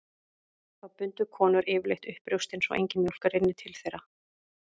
Þá bundu konur yfirleitt upp brjóstin svo engin mjólk rynni til þeirra.